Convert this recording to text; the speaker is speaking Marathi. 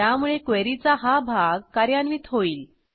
त्यामुळे क्वेरीचा हा भाग कार्यान्वित होईल